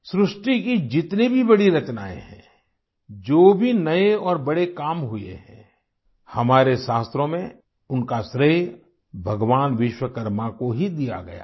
सृष्टि की जितनी भी बड़ी रचनाएँ हैं जो भी नए और बड़े काम हुए हैं हमारे शास्त्रों में उनका श्रेय भगवान विश्वकर्मा को ही दिया गया है